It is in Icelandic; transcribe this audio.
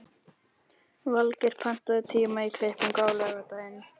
Valgeir, pantaðu tíma í klippingu á laugardaginn.